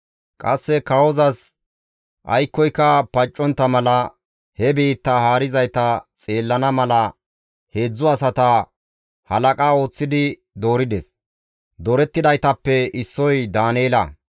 Qasse kawozas aykkoyka paccontta mala, he biittaa haarizayta xeellana mala heedzdzu asata halaqa ooththidi doorides; doorettidaytappe issoy Daaneela.